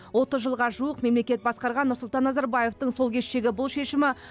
отыз жылға жуық мемлекет басқарған нұрсұлтан назарбаевтың сол кештегі бұл шешімі